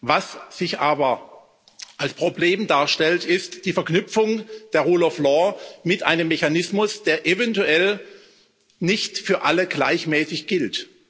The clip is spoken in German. Was sich aber als Problem darstellt, ist die Verknüpfung der rule of law mit einem Mechanismus, der eventuell nicht für alle gleichmäßig gilt.